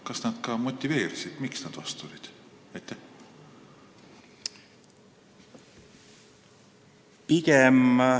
Kas nad motiveerisid ka, miks nad vastu olid?